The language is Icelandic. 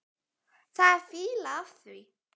Það er fýla af þér.